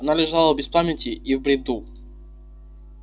она лежала без памяти и в бреду